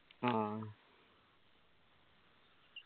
ആ